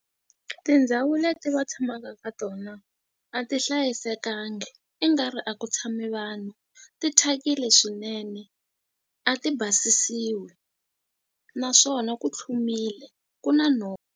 Tindhawu leti va tshamaka ka tona a ti hlayisekanga i nga ri a ku tshami vanhu ti thyakile swinene a ti basisiwi naswona ku tlhumile ku na .